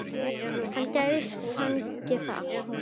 Hann gæti fengið það allt